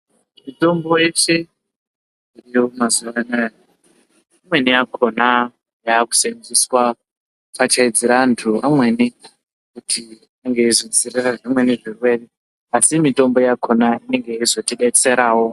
Mitombo yese iriyo mazuva anaya imweni yakona yakusenzeswa kupfachaidzira antu amweni kuti ange eizodzirira zvimweni zvirwere. Asi mitombo yakona inenge yeizotibetseravo.